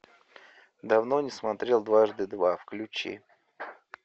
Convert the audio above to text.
давно не смотрел дважды два включи